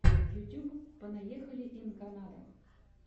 ютюб понаехали ин канада